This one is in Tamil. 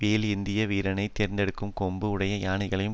வேல் ஏந்திய வீரரை கோர்த்தெடுத்த கொம்பு உடைய யானையையும்